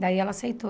Daí ela aceitou.